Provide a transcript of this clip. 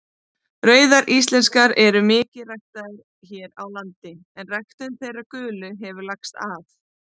Rauðar íslenskar eru mikið ræktaðar hér á landi en ræktun þeirra gulu hefur lagst af.